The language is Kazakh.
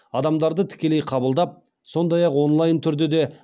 адамдарды тікелей қабылдап сондай ақ онлайн түрде де